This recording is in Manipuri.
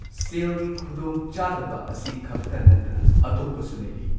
ꯁꯦꯜ ꯒꯤ ꯈꯨꯗꯣꯡ ꯆꯥꯗꯕ ꯑꯁꯤ ꯈꯛꯇ ꯅꯠꯇꯅ ꯑꯇꯣꯞꯄꯁꯨ ꯂꯩꯔꯤ꯫